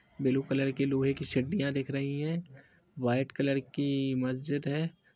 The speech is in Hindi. ब्लू कलर की लोहे की सड्डीयां दिख रही है। वाईट कलर की मस्जिद है।